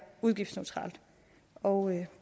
udgiftsneutralt og